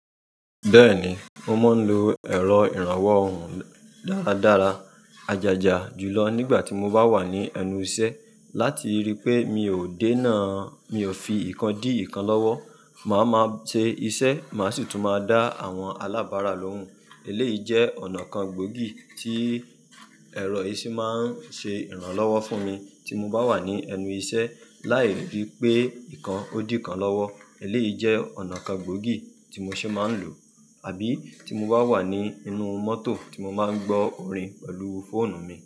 Bẹ́ẹ̀ni mo man lo ẹ̀rọ ìrànwọ́ ohùn dára dára àjàjà jùlọ nígbà tí mo bá wà ní ẹnu iṣẹ́ láti rípé mi ò dènà mio fi ìkan di ìkan lọ́wọ́. Màá ma ṣe iṣẹ́, màá sì tún máa dá àwọn alábárà lóhùn. Eléyìí jẹ́ ọ̀nà kan gbòógì tí ẹ̀rọ ìṣí máa ń ṣe ìrànlọ́wọ́ fún mi tí mo bá wà ní ẹnu iṣẹ́. Lái rí i pé ìkan ó di ìkan lọ́wọ́. Eléyìí jẹ́ ọ̀nà kan gbòógì tí mo ṣe máa ń lò. Àbí tí mo bá wà nínú mọ́tò tí mo máa ń gbọ́ orin pẹ̀lú fóònù mi.